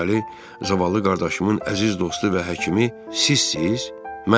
Deməli, zavallı qardaşımın əziz dostu və həkimi sizsiz?